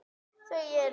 Þau eru